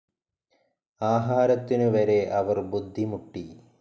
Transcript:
ആഹാരത്തിനു വരെ അവർ ബുദ്ധിമുട്ടി.